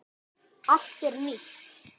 Allt er nýtt.